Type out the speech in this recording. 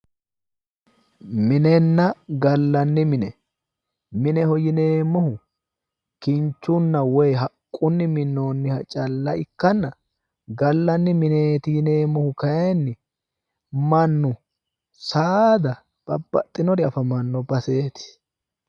Minenna gallanni mine mineho yineemohu kinchunna woyi haqqunni minnoonniha calla ikkanna gallanni mineeti yineemohu kayiinni mannu saada babbaxxinori afamanno baseeti